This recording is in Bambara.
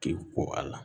Kile ko a la